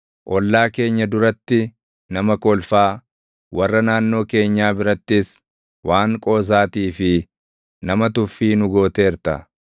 Ollaa keenya duratti nama kolfaa, warra naannoo keenyaa birattis // waan qoosaatii fi nama tuffii nu gooteerta.